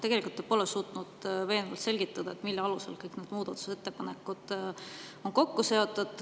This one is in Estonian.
Tegelikult te pole suutnud veenvalt selgitada, mille alusel kõik need muudatusettepanekud on kokku seotud.